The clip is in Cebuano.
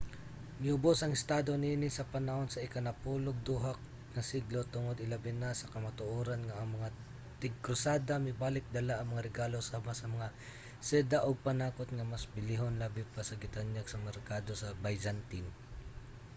miubos ang estado niini sa panahon sa ika-napulo'g duha nga siglo tungod ilabina sa kamatuoran nga ang mga tig-krusada mibalik dala ang mga regalo sama sa mga seda ug panakot nga mas bilihon labi pa sa gitanyag sa mga merkado sa byzantine